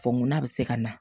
Fɔ nkuna bɛ se ka na